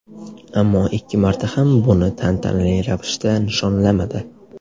Ammo ikki marta ham buni tantanali ravishda nishonlamadi.